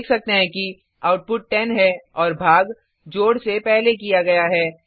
हम देख सकते हैं कि आउटपुट 10 है और भाग जोड से पहले किया गया है